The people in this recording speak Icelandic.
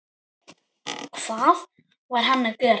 Hvað var hann að gera?